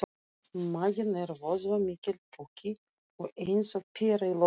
Maginn er vöðvamikill poki og eins og pera í lögun.